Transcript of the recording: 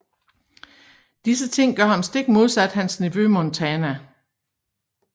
Disse ting gør ham stik modsat hans nevø Montana